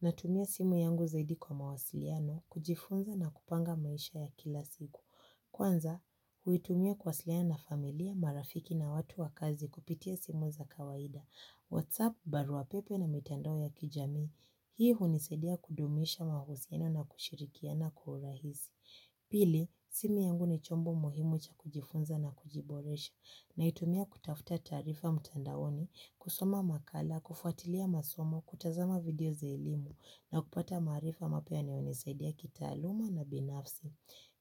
Natumia simu yangu zaidi kwa mawasiliano, kujifunza na kupanga maisha ya kila siku. Kwanza, huitumia kuwasiliana familia, marafiki na watu wakazi kupitia simu za kawaida. Whatsapp, baruapepe na mitando ya kijami. Hii hunisaidia kudumisha mahusiano na kushirikiana kwa urahisi. Pili, simu yangu ni chombo muhimu cha kujifunza na kujiboresha. Naitumia kutafuta taarifa mtandaoni, kusoma makala, kufuatilia masomo, kutazama video za elimu na kupata maarifa mapya yanayonisaidia kitaaluma na binafsi.